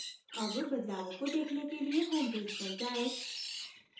अब बदलावों को देखने के लिए homepage पर जायें